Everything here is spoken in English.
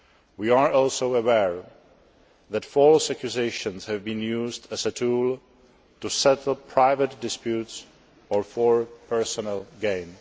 We are also aware that false accusations have been used as a tool to settle private disputes or for personal gain.